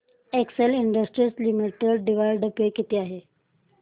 Excel Industries Limited dividend pay किती आहे